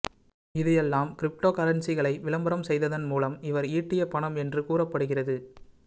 இது எல்லாம் கிரிப்டோகரன்சிகளை விளம்பரம் செய்ததன் மூலம் இவர் ஈட்டிய பணம் என்று கூறப்படுகிறது